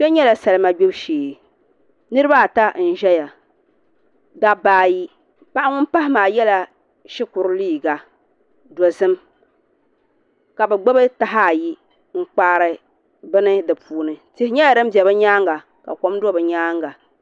Kpɛ nyɛla salima gbibu shee niraba ata n ʒɛya dabba ayi paɣa ŋun pahi maa yɛla shikuru liiga dozim ka bi gbubi taha ayi n kpaari bini di puuni tihi nyɛla din bɛ bi nyaanga ka kom do bi nyaanga